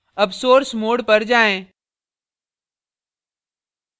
अब source mode पर जाएँ